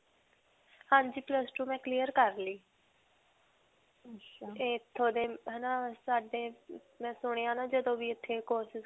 ਹਾਂਜੀ. plus two ਮੈਂ clear ਕਰ ਲਈ. ਇੱਥੋਂ ਦੇ ਹੈ ਨਾ ਸਾਡੇ ਮੈਂ ਸੁਣਿਆ ਨਾ ਜਦੋ ਵੀ ਇੱਥੇ courses